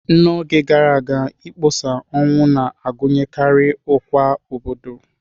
N'oge gara aga, ịkpọsa ọnwụ na-agụnyekarị ọkwa obodo.